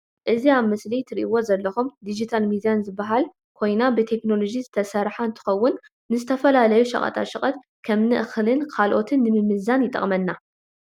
እዚ ኣብ ምስሊ ትርእዎ ዘለኩም ድጅታል ሚዛን ዝባሃል ኮይና ብቴክኖሎጂ ዝተሰረሓ እንትከውን ንተፈላለዩ ሸቀጣ ሸቀጥ ከምነ እክሊን ካልኮትን ንምምዛን ይጠቅመና።